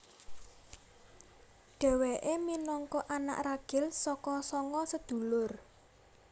Dhewéke minangka anak ragil saka sanga sedulur